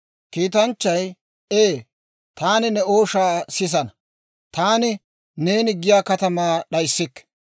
Kiitanchchay, «Ee, taani ne ooshaa sisana; taani neeni giyaa katamaa d'ayssikke.